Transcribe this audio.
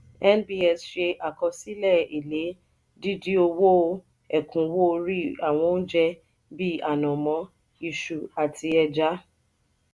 nbs ṣe àkọsílẹ èle dìdí owó ekunwo orí àwọn oúnjẹ bí anamọ iṣu àti ẹja.